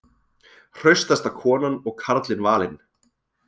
Hraustasta konan og karlinn valin